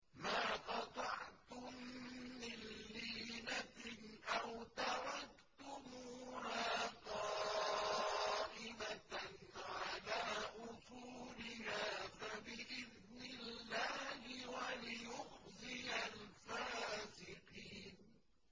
مَا قَطَعْتُم مِّن لِّينَةٍ أَوْ تَرَكْتُمُوهَا قَائِمَةً عَلَىٰ أُصُولِهَا فَبِإِذْنِ اللَّهِ وَلِيُخْزِيَ الْفَاسِقِينَ